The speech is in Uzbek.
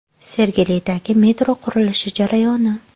Sergelidagi metro qurilishi jarayoni.